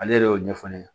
Ale yɛrɛ y'o ɲɛfɔ ne ɲɛna